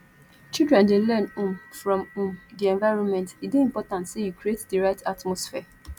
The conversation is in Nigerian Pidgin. children dey learn um from um di environment e dey important say you create di right atmosphere